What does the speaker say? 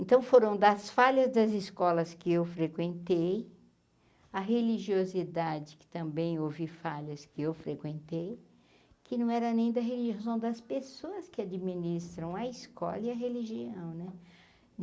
Então foram das falhas das escolas que eu frequentei, a religiosidade, que também houve falhas que eu frequentei, que não era nem da religião são das pessoas que administram a escola e a religião né.